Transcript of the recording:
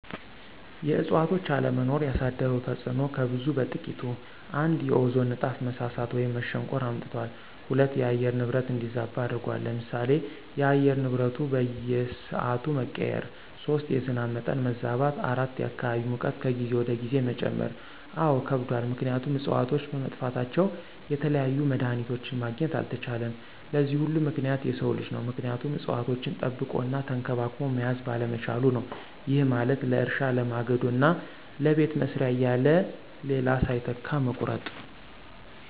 የእዕፅዋቶች አለመኖር ያሳደረው ተፅዕኖ ከብዙ በጥቂቱ፦ ፩) የኦዞን ንጣፍ መሳሳት ወይም መሸንቆር አምጥቷል። ፪) የአየር ንብረት እንዲዛባ አድርጎታል። ለምሳሌ፦ የአየር ንብረቱ በየስዓቱ መቀያየር። ፫) የዝናብ መጠን መዛባት። ፬) የአካባቢ ሙቀት ከጊዜ ወደ ጊዜ መጨመር። አዎ ከብዷል ምክንያቱም እፅዋቶች በመጥፋታቸው የተለያዩ መድሀኒቶችን ማግኘት አልተቻለም። ለዚህ ሁሉ ምክንያት የሰው ልጅ ነው ምክንያቱም እፅዋቶችን ጠብቆ እና ተንከባክቦ መያዝ ባለመቻሉ ነው። ይህ ማለት ለእርሻ፣ ለማገዶ እና ለቤት መስሪያ እያለ ሌላ ሳይተካ መቁረጡ።